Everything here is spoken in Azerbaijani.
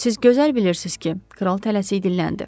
Siz gözəl bilirsiz ki, kral tələsik dilləndi.